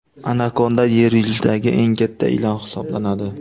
Anakonda yer yuzidagi eng katta ilon hisoblanadi.